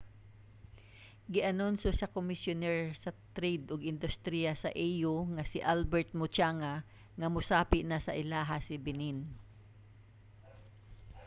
gianunsyo sa komisyuner sa trade ug industriya sa au nga si albert muchanga nga mosapi na sa ilaha si benin